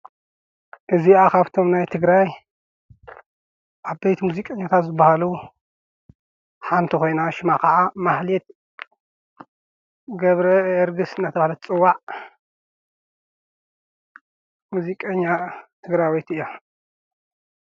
እዚኣኻብቶም ናይ ትግራይ ኣበይት ሙዚቀኛታ ዘበሃሉ ሓንተ ኾይና ሽማ ኸዓ ማህሊት ገብረ ዕርግሥ ነተሃለት ጽዋዕ ሙዚቀኛ ትግራይ ወይት እያ።